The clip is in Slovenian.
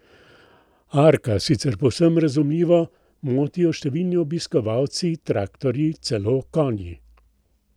Arka, sicer povsem razumljivo, motijo številni obiskovalci, traktorji, celo konji.